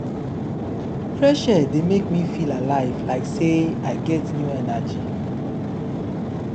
fresh air dey make me feel alive like sey i get new energy